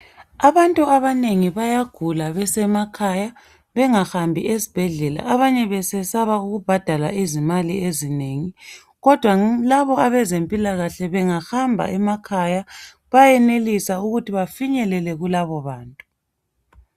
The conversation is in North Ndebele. Abantu abanengi bayagula besemakhaya bengahambi ezibhedlela, abanye besesaba ukubhadala izimali ezinengi. Abezempilakahle balokuhamba emakhaya ukuyoba nceda ukuze bafinyelele kulabo bantu.